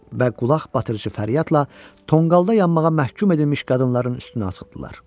Və qulaqbatırıcı fəryadla tonqalda yanmağa məhkum edilmiş qadınların üstünə atıldılar.